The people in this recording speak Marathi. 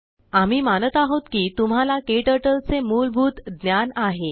आम्ही मानतआहोत कि तुम्हालाकेटरटलचेमूलभूतज्ञान आहे